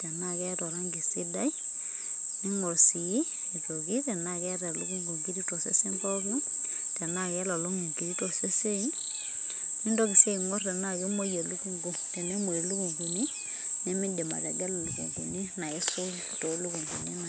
tenaa keeta oranki sidai. ning'or sii tenaa keeta elukunku inkiri tosesen pookin. tenaa kelolong' inkiri tosesen. nintoki sii aing'or tenaa keng'emuoi elukunku. tenemuoi ilukunkuni, nemidim ategelu ilukunkuni naisul too lukunkuni.